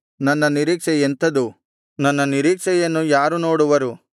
ನನ್ನ ನಿರೀಕ್ಷೆ ಎಂಥದು ನನ್ನ ನಿರೀಕ್ಷೆಯನ್ನು ಯಾರು ನೋಡುವರು